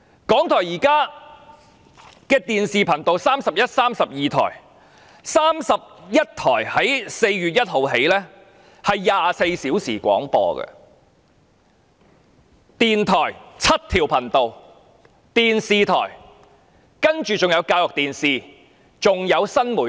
港台現時的電視頻道有31及32台 ，31 台更自4月1日起提供24小時廣播，電台則有7條頻道，還有教育電視及新媒體。